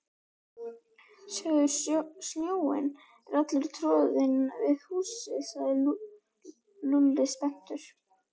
Sjáðu, snjórinn er allur troðinn við húsið sagði Lúlli spenntur.